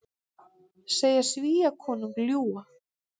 Segja Svíakonung ljúga